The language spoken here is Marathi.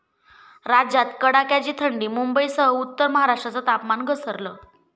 राज्यात कडाक्याची थंडी, मुंबईसह उत्तर महाराष्ट्राचं तापमान घसरलं